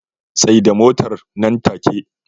Tsaida Motar nan take